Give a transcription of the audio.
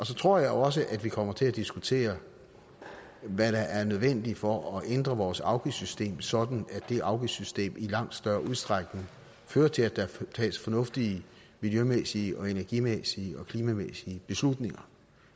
så tror jeg også vi kommer til at diskutere hvad der er nødvendigt for at ændre vores afgiftssystem sådan at det afgiftssystem i langt større udstrækning fører til at der tages fornuftige miljømæssige og energimæssige og klimamæssige beslutninger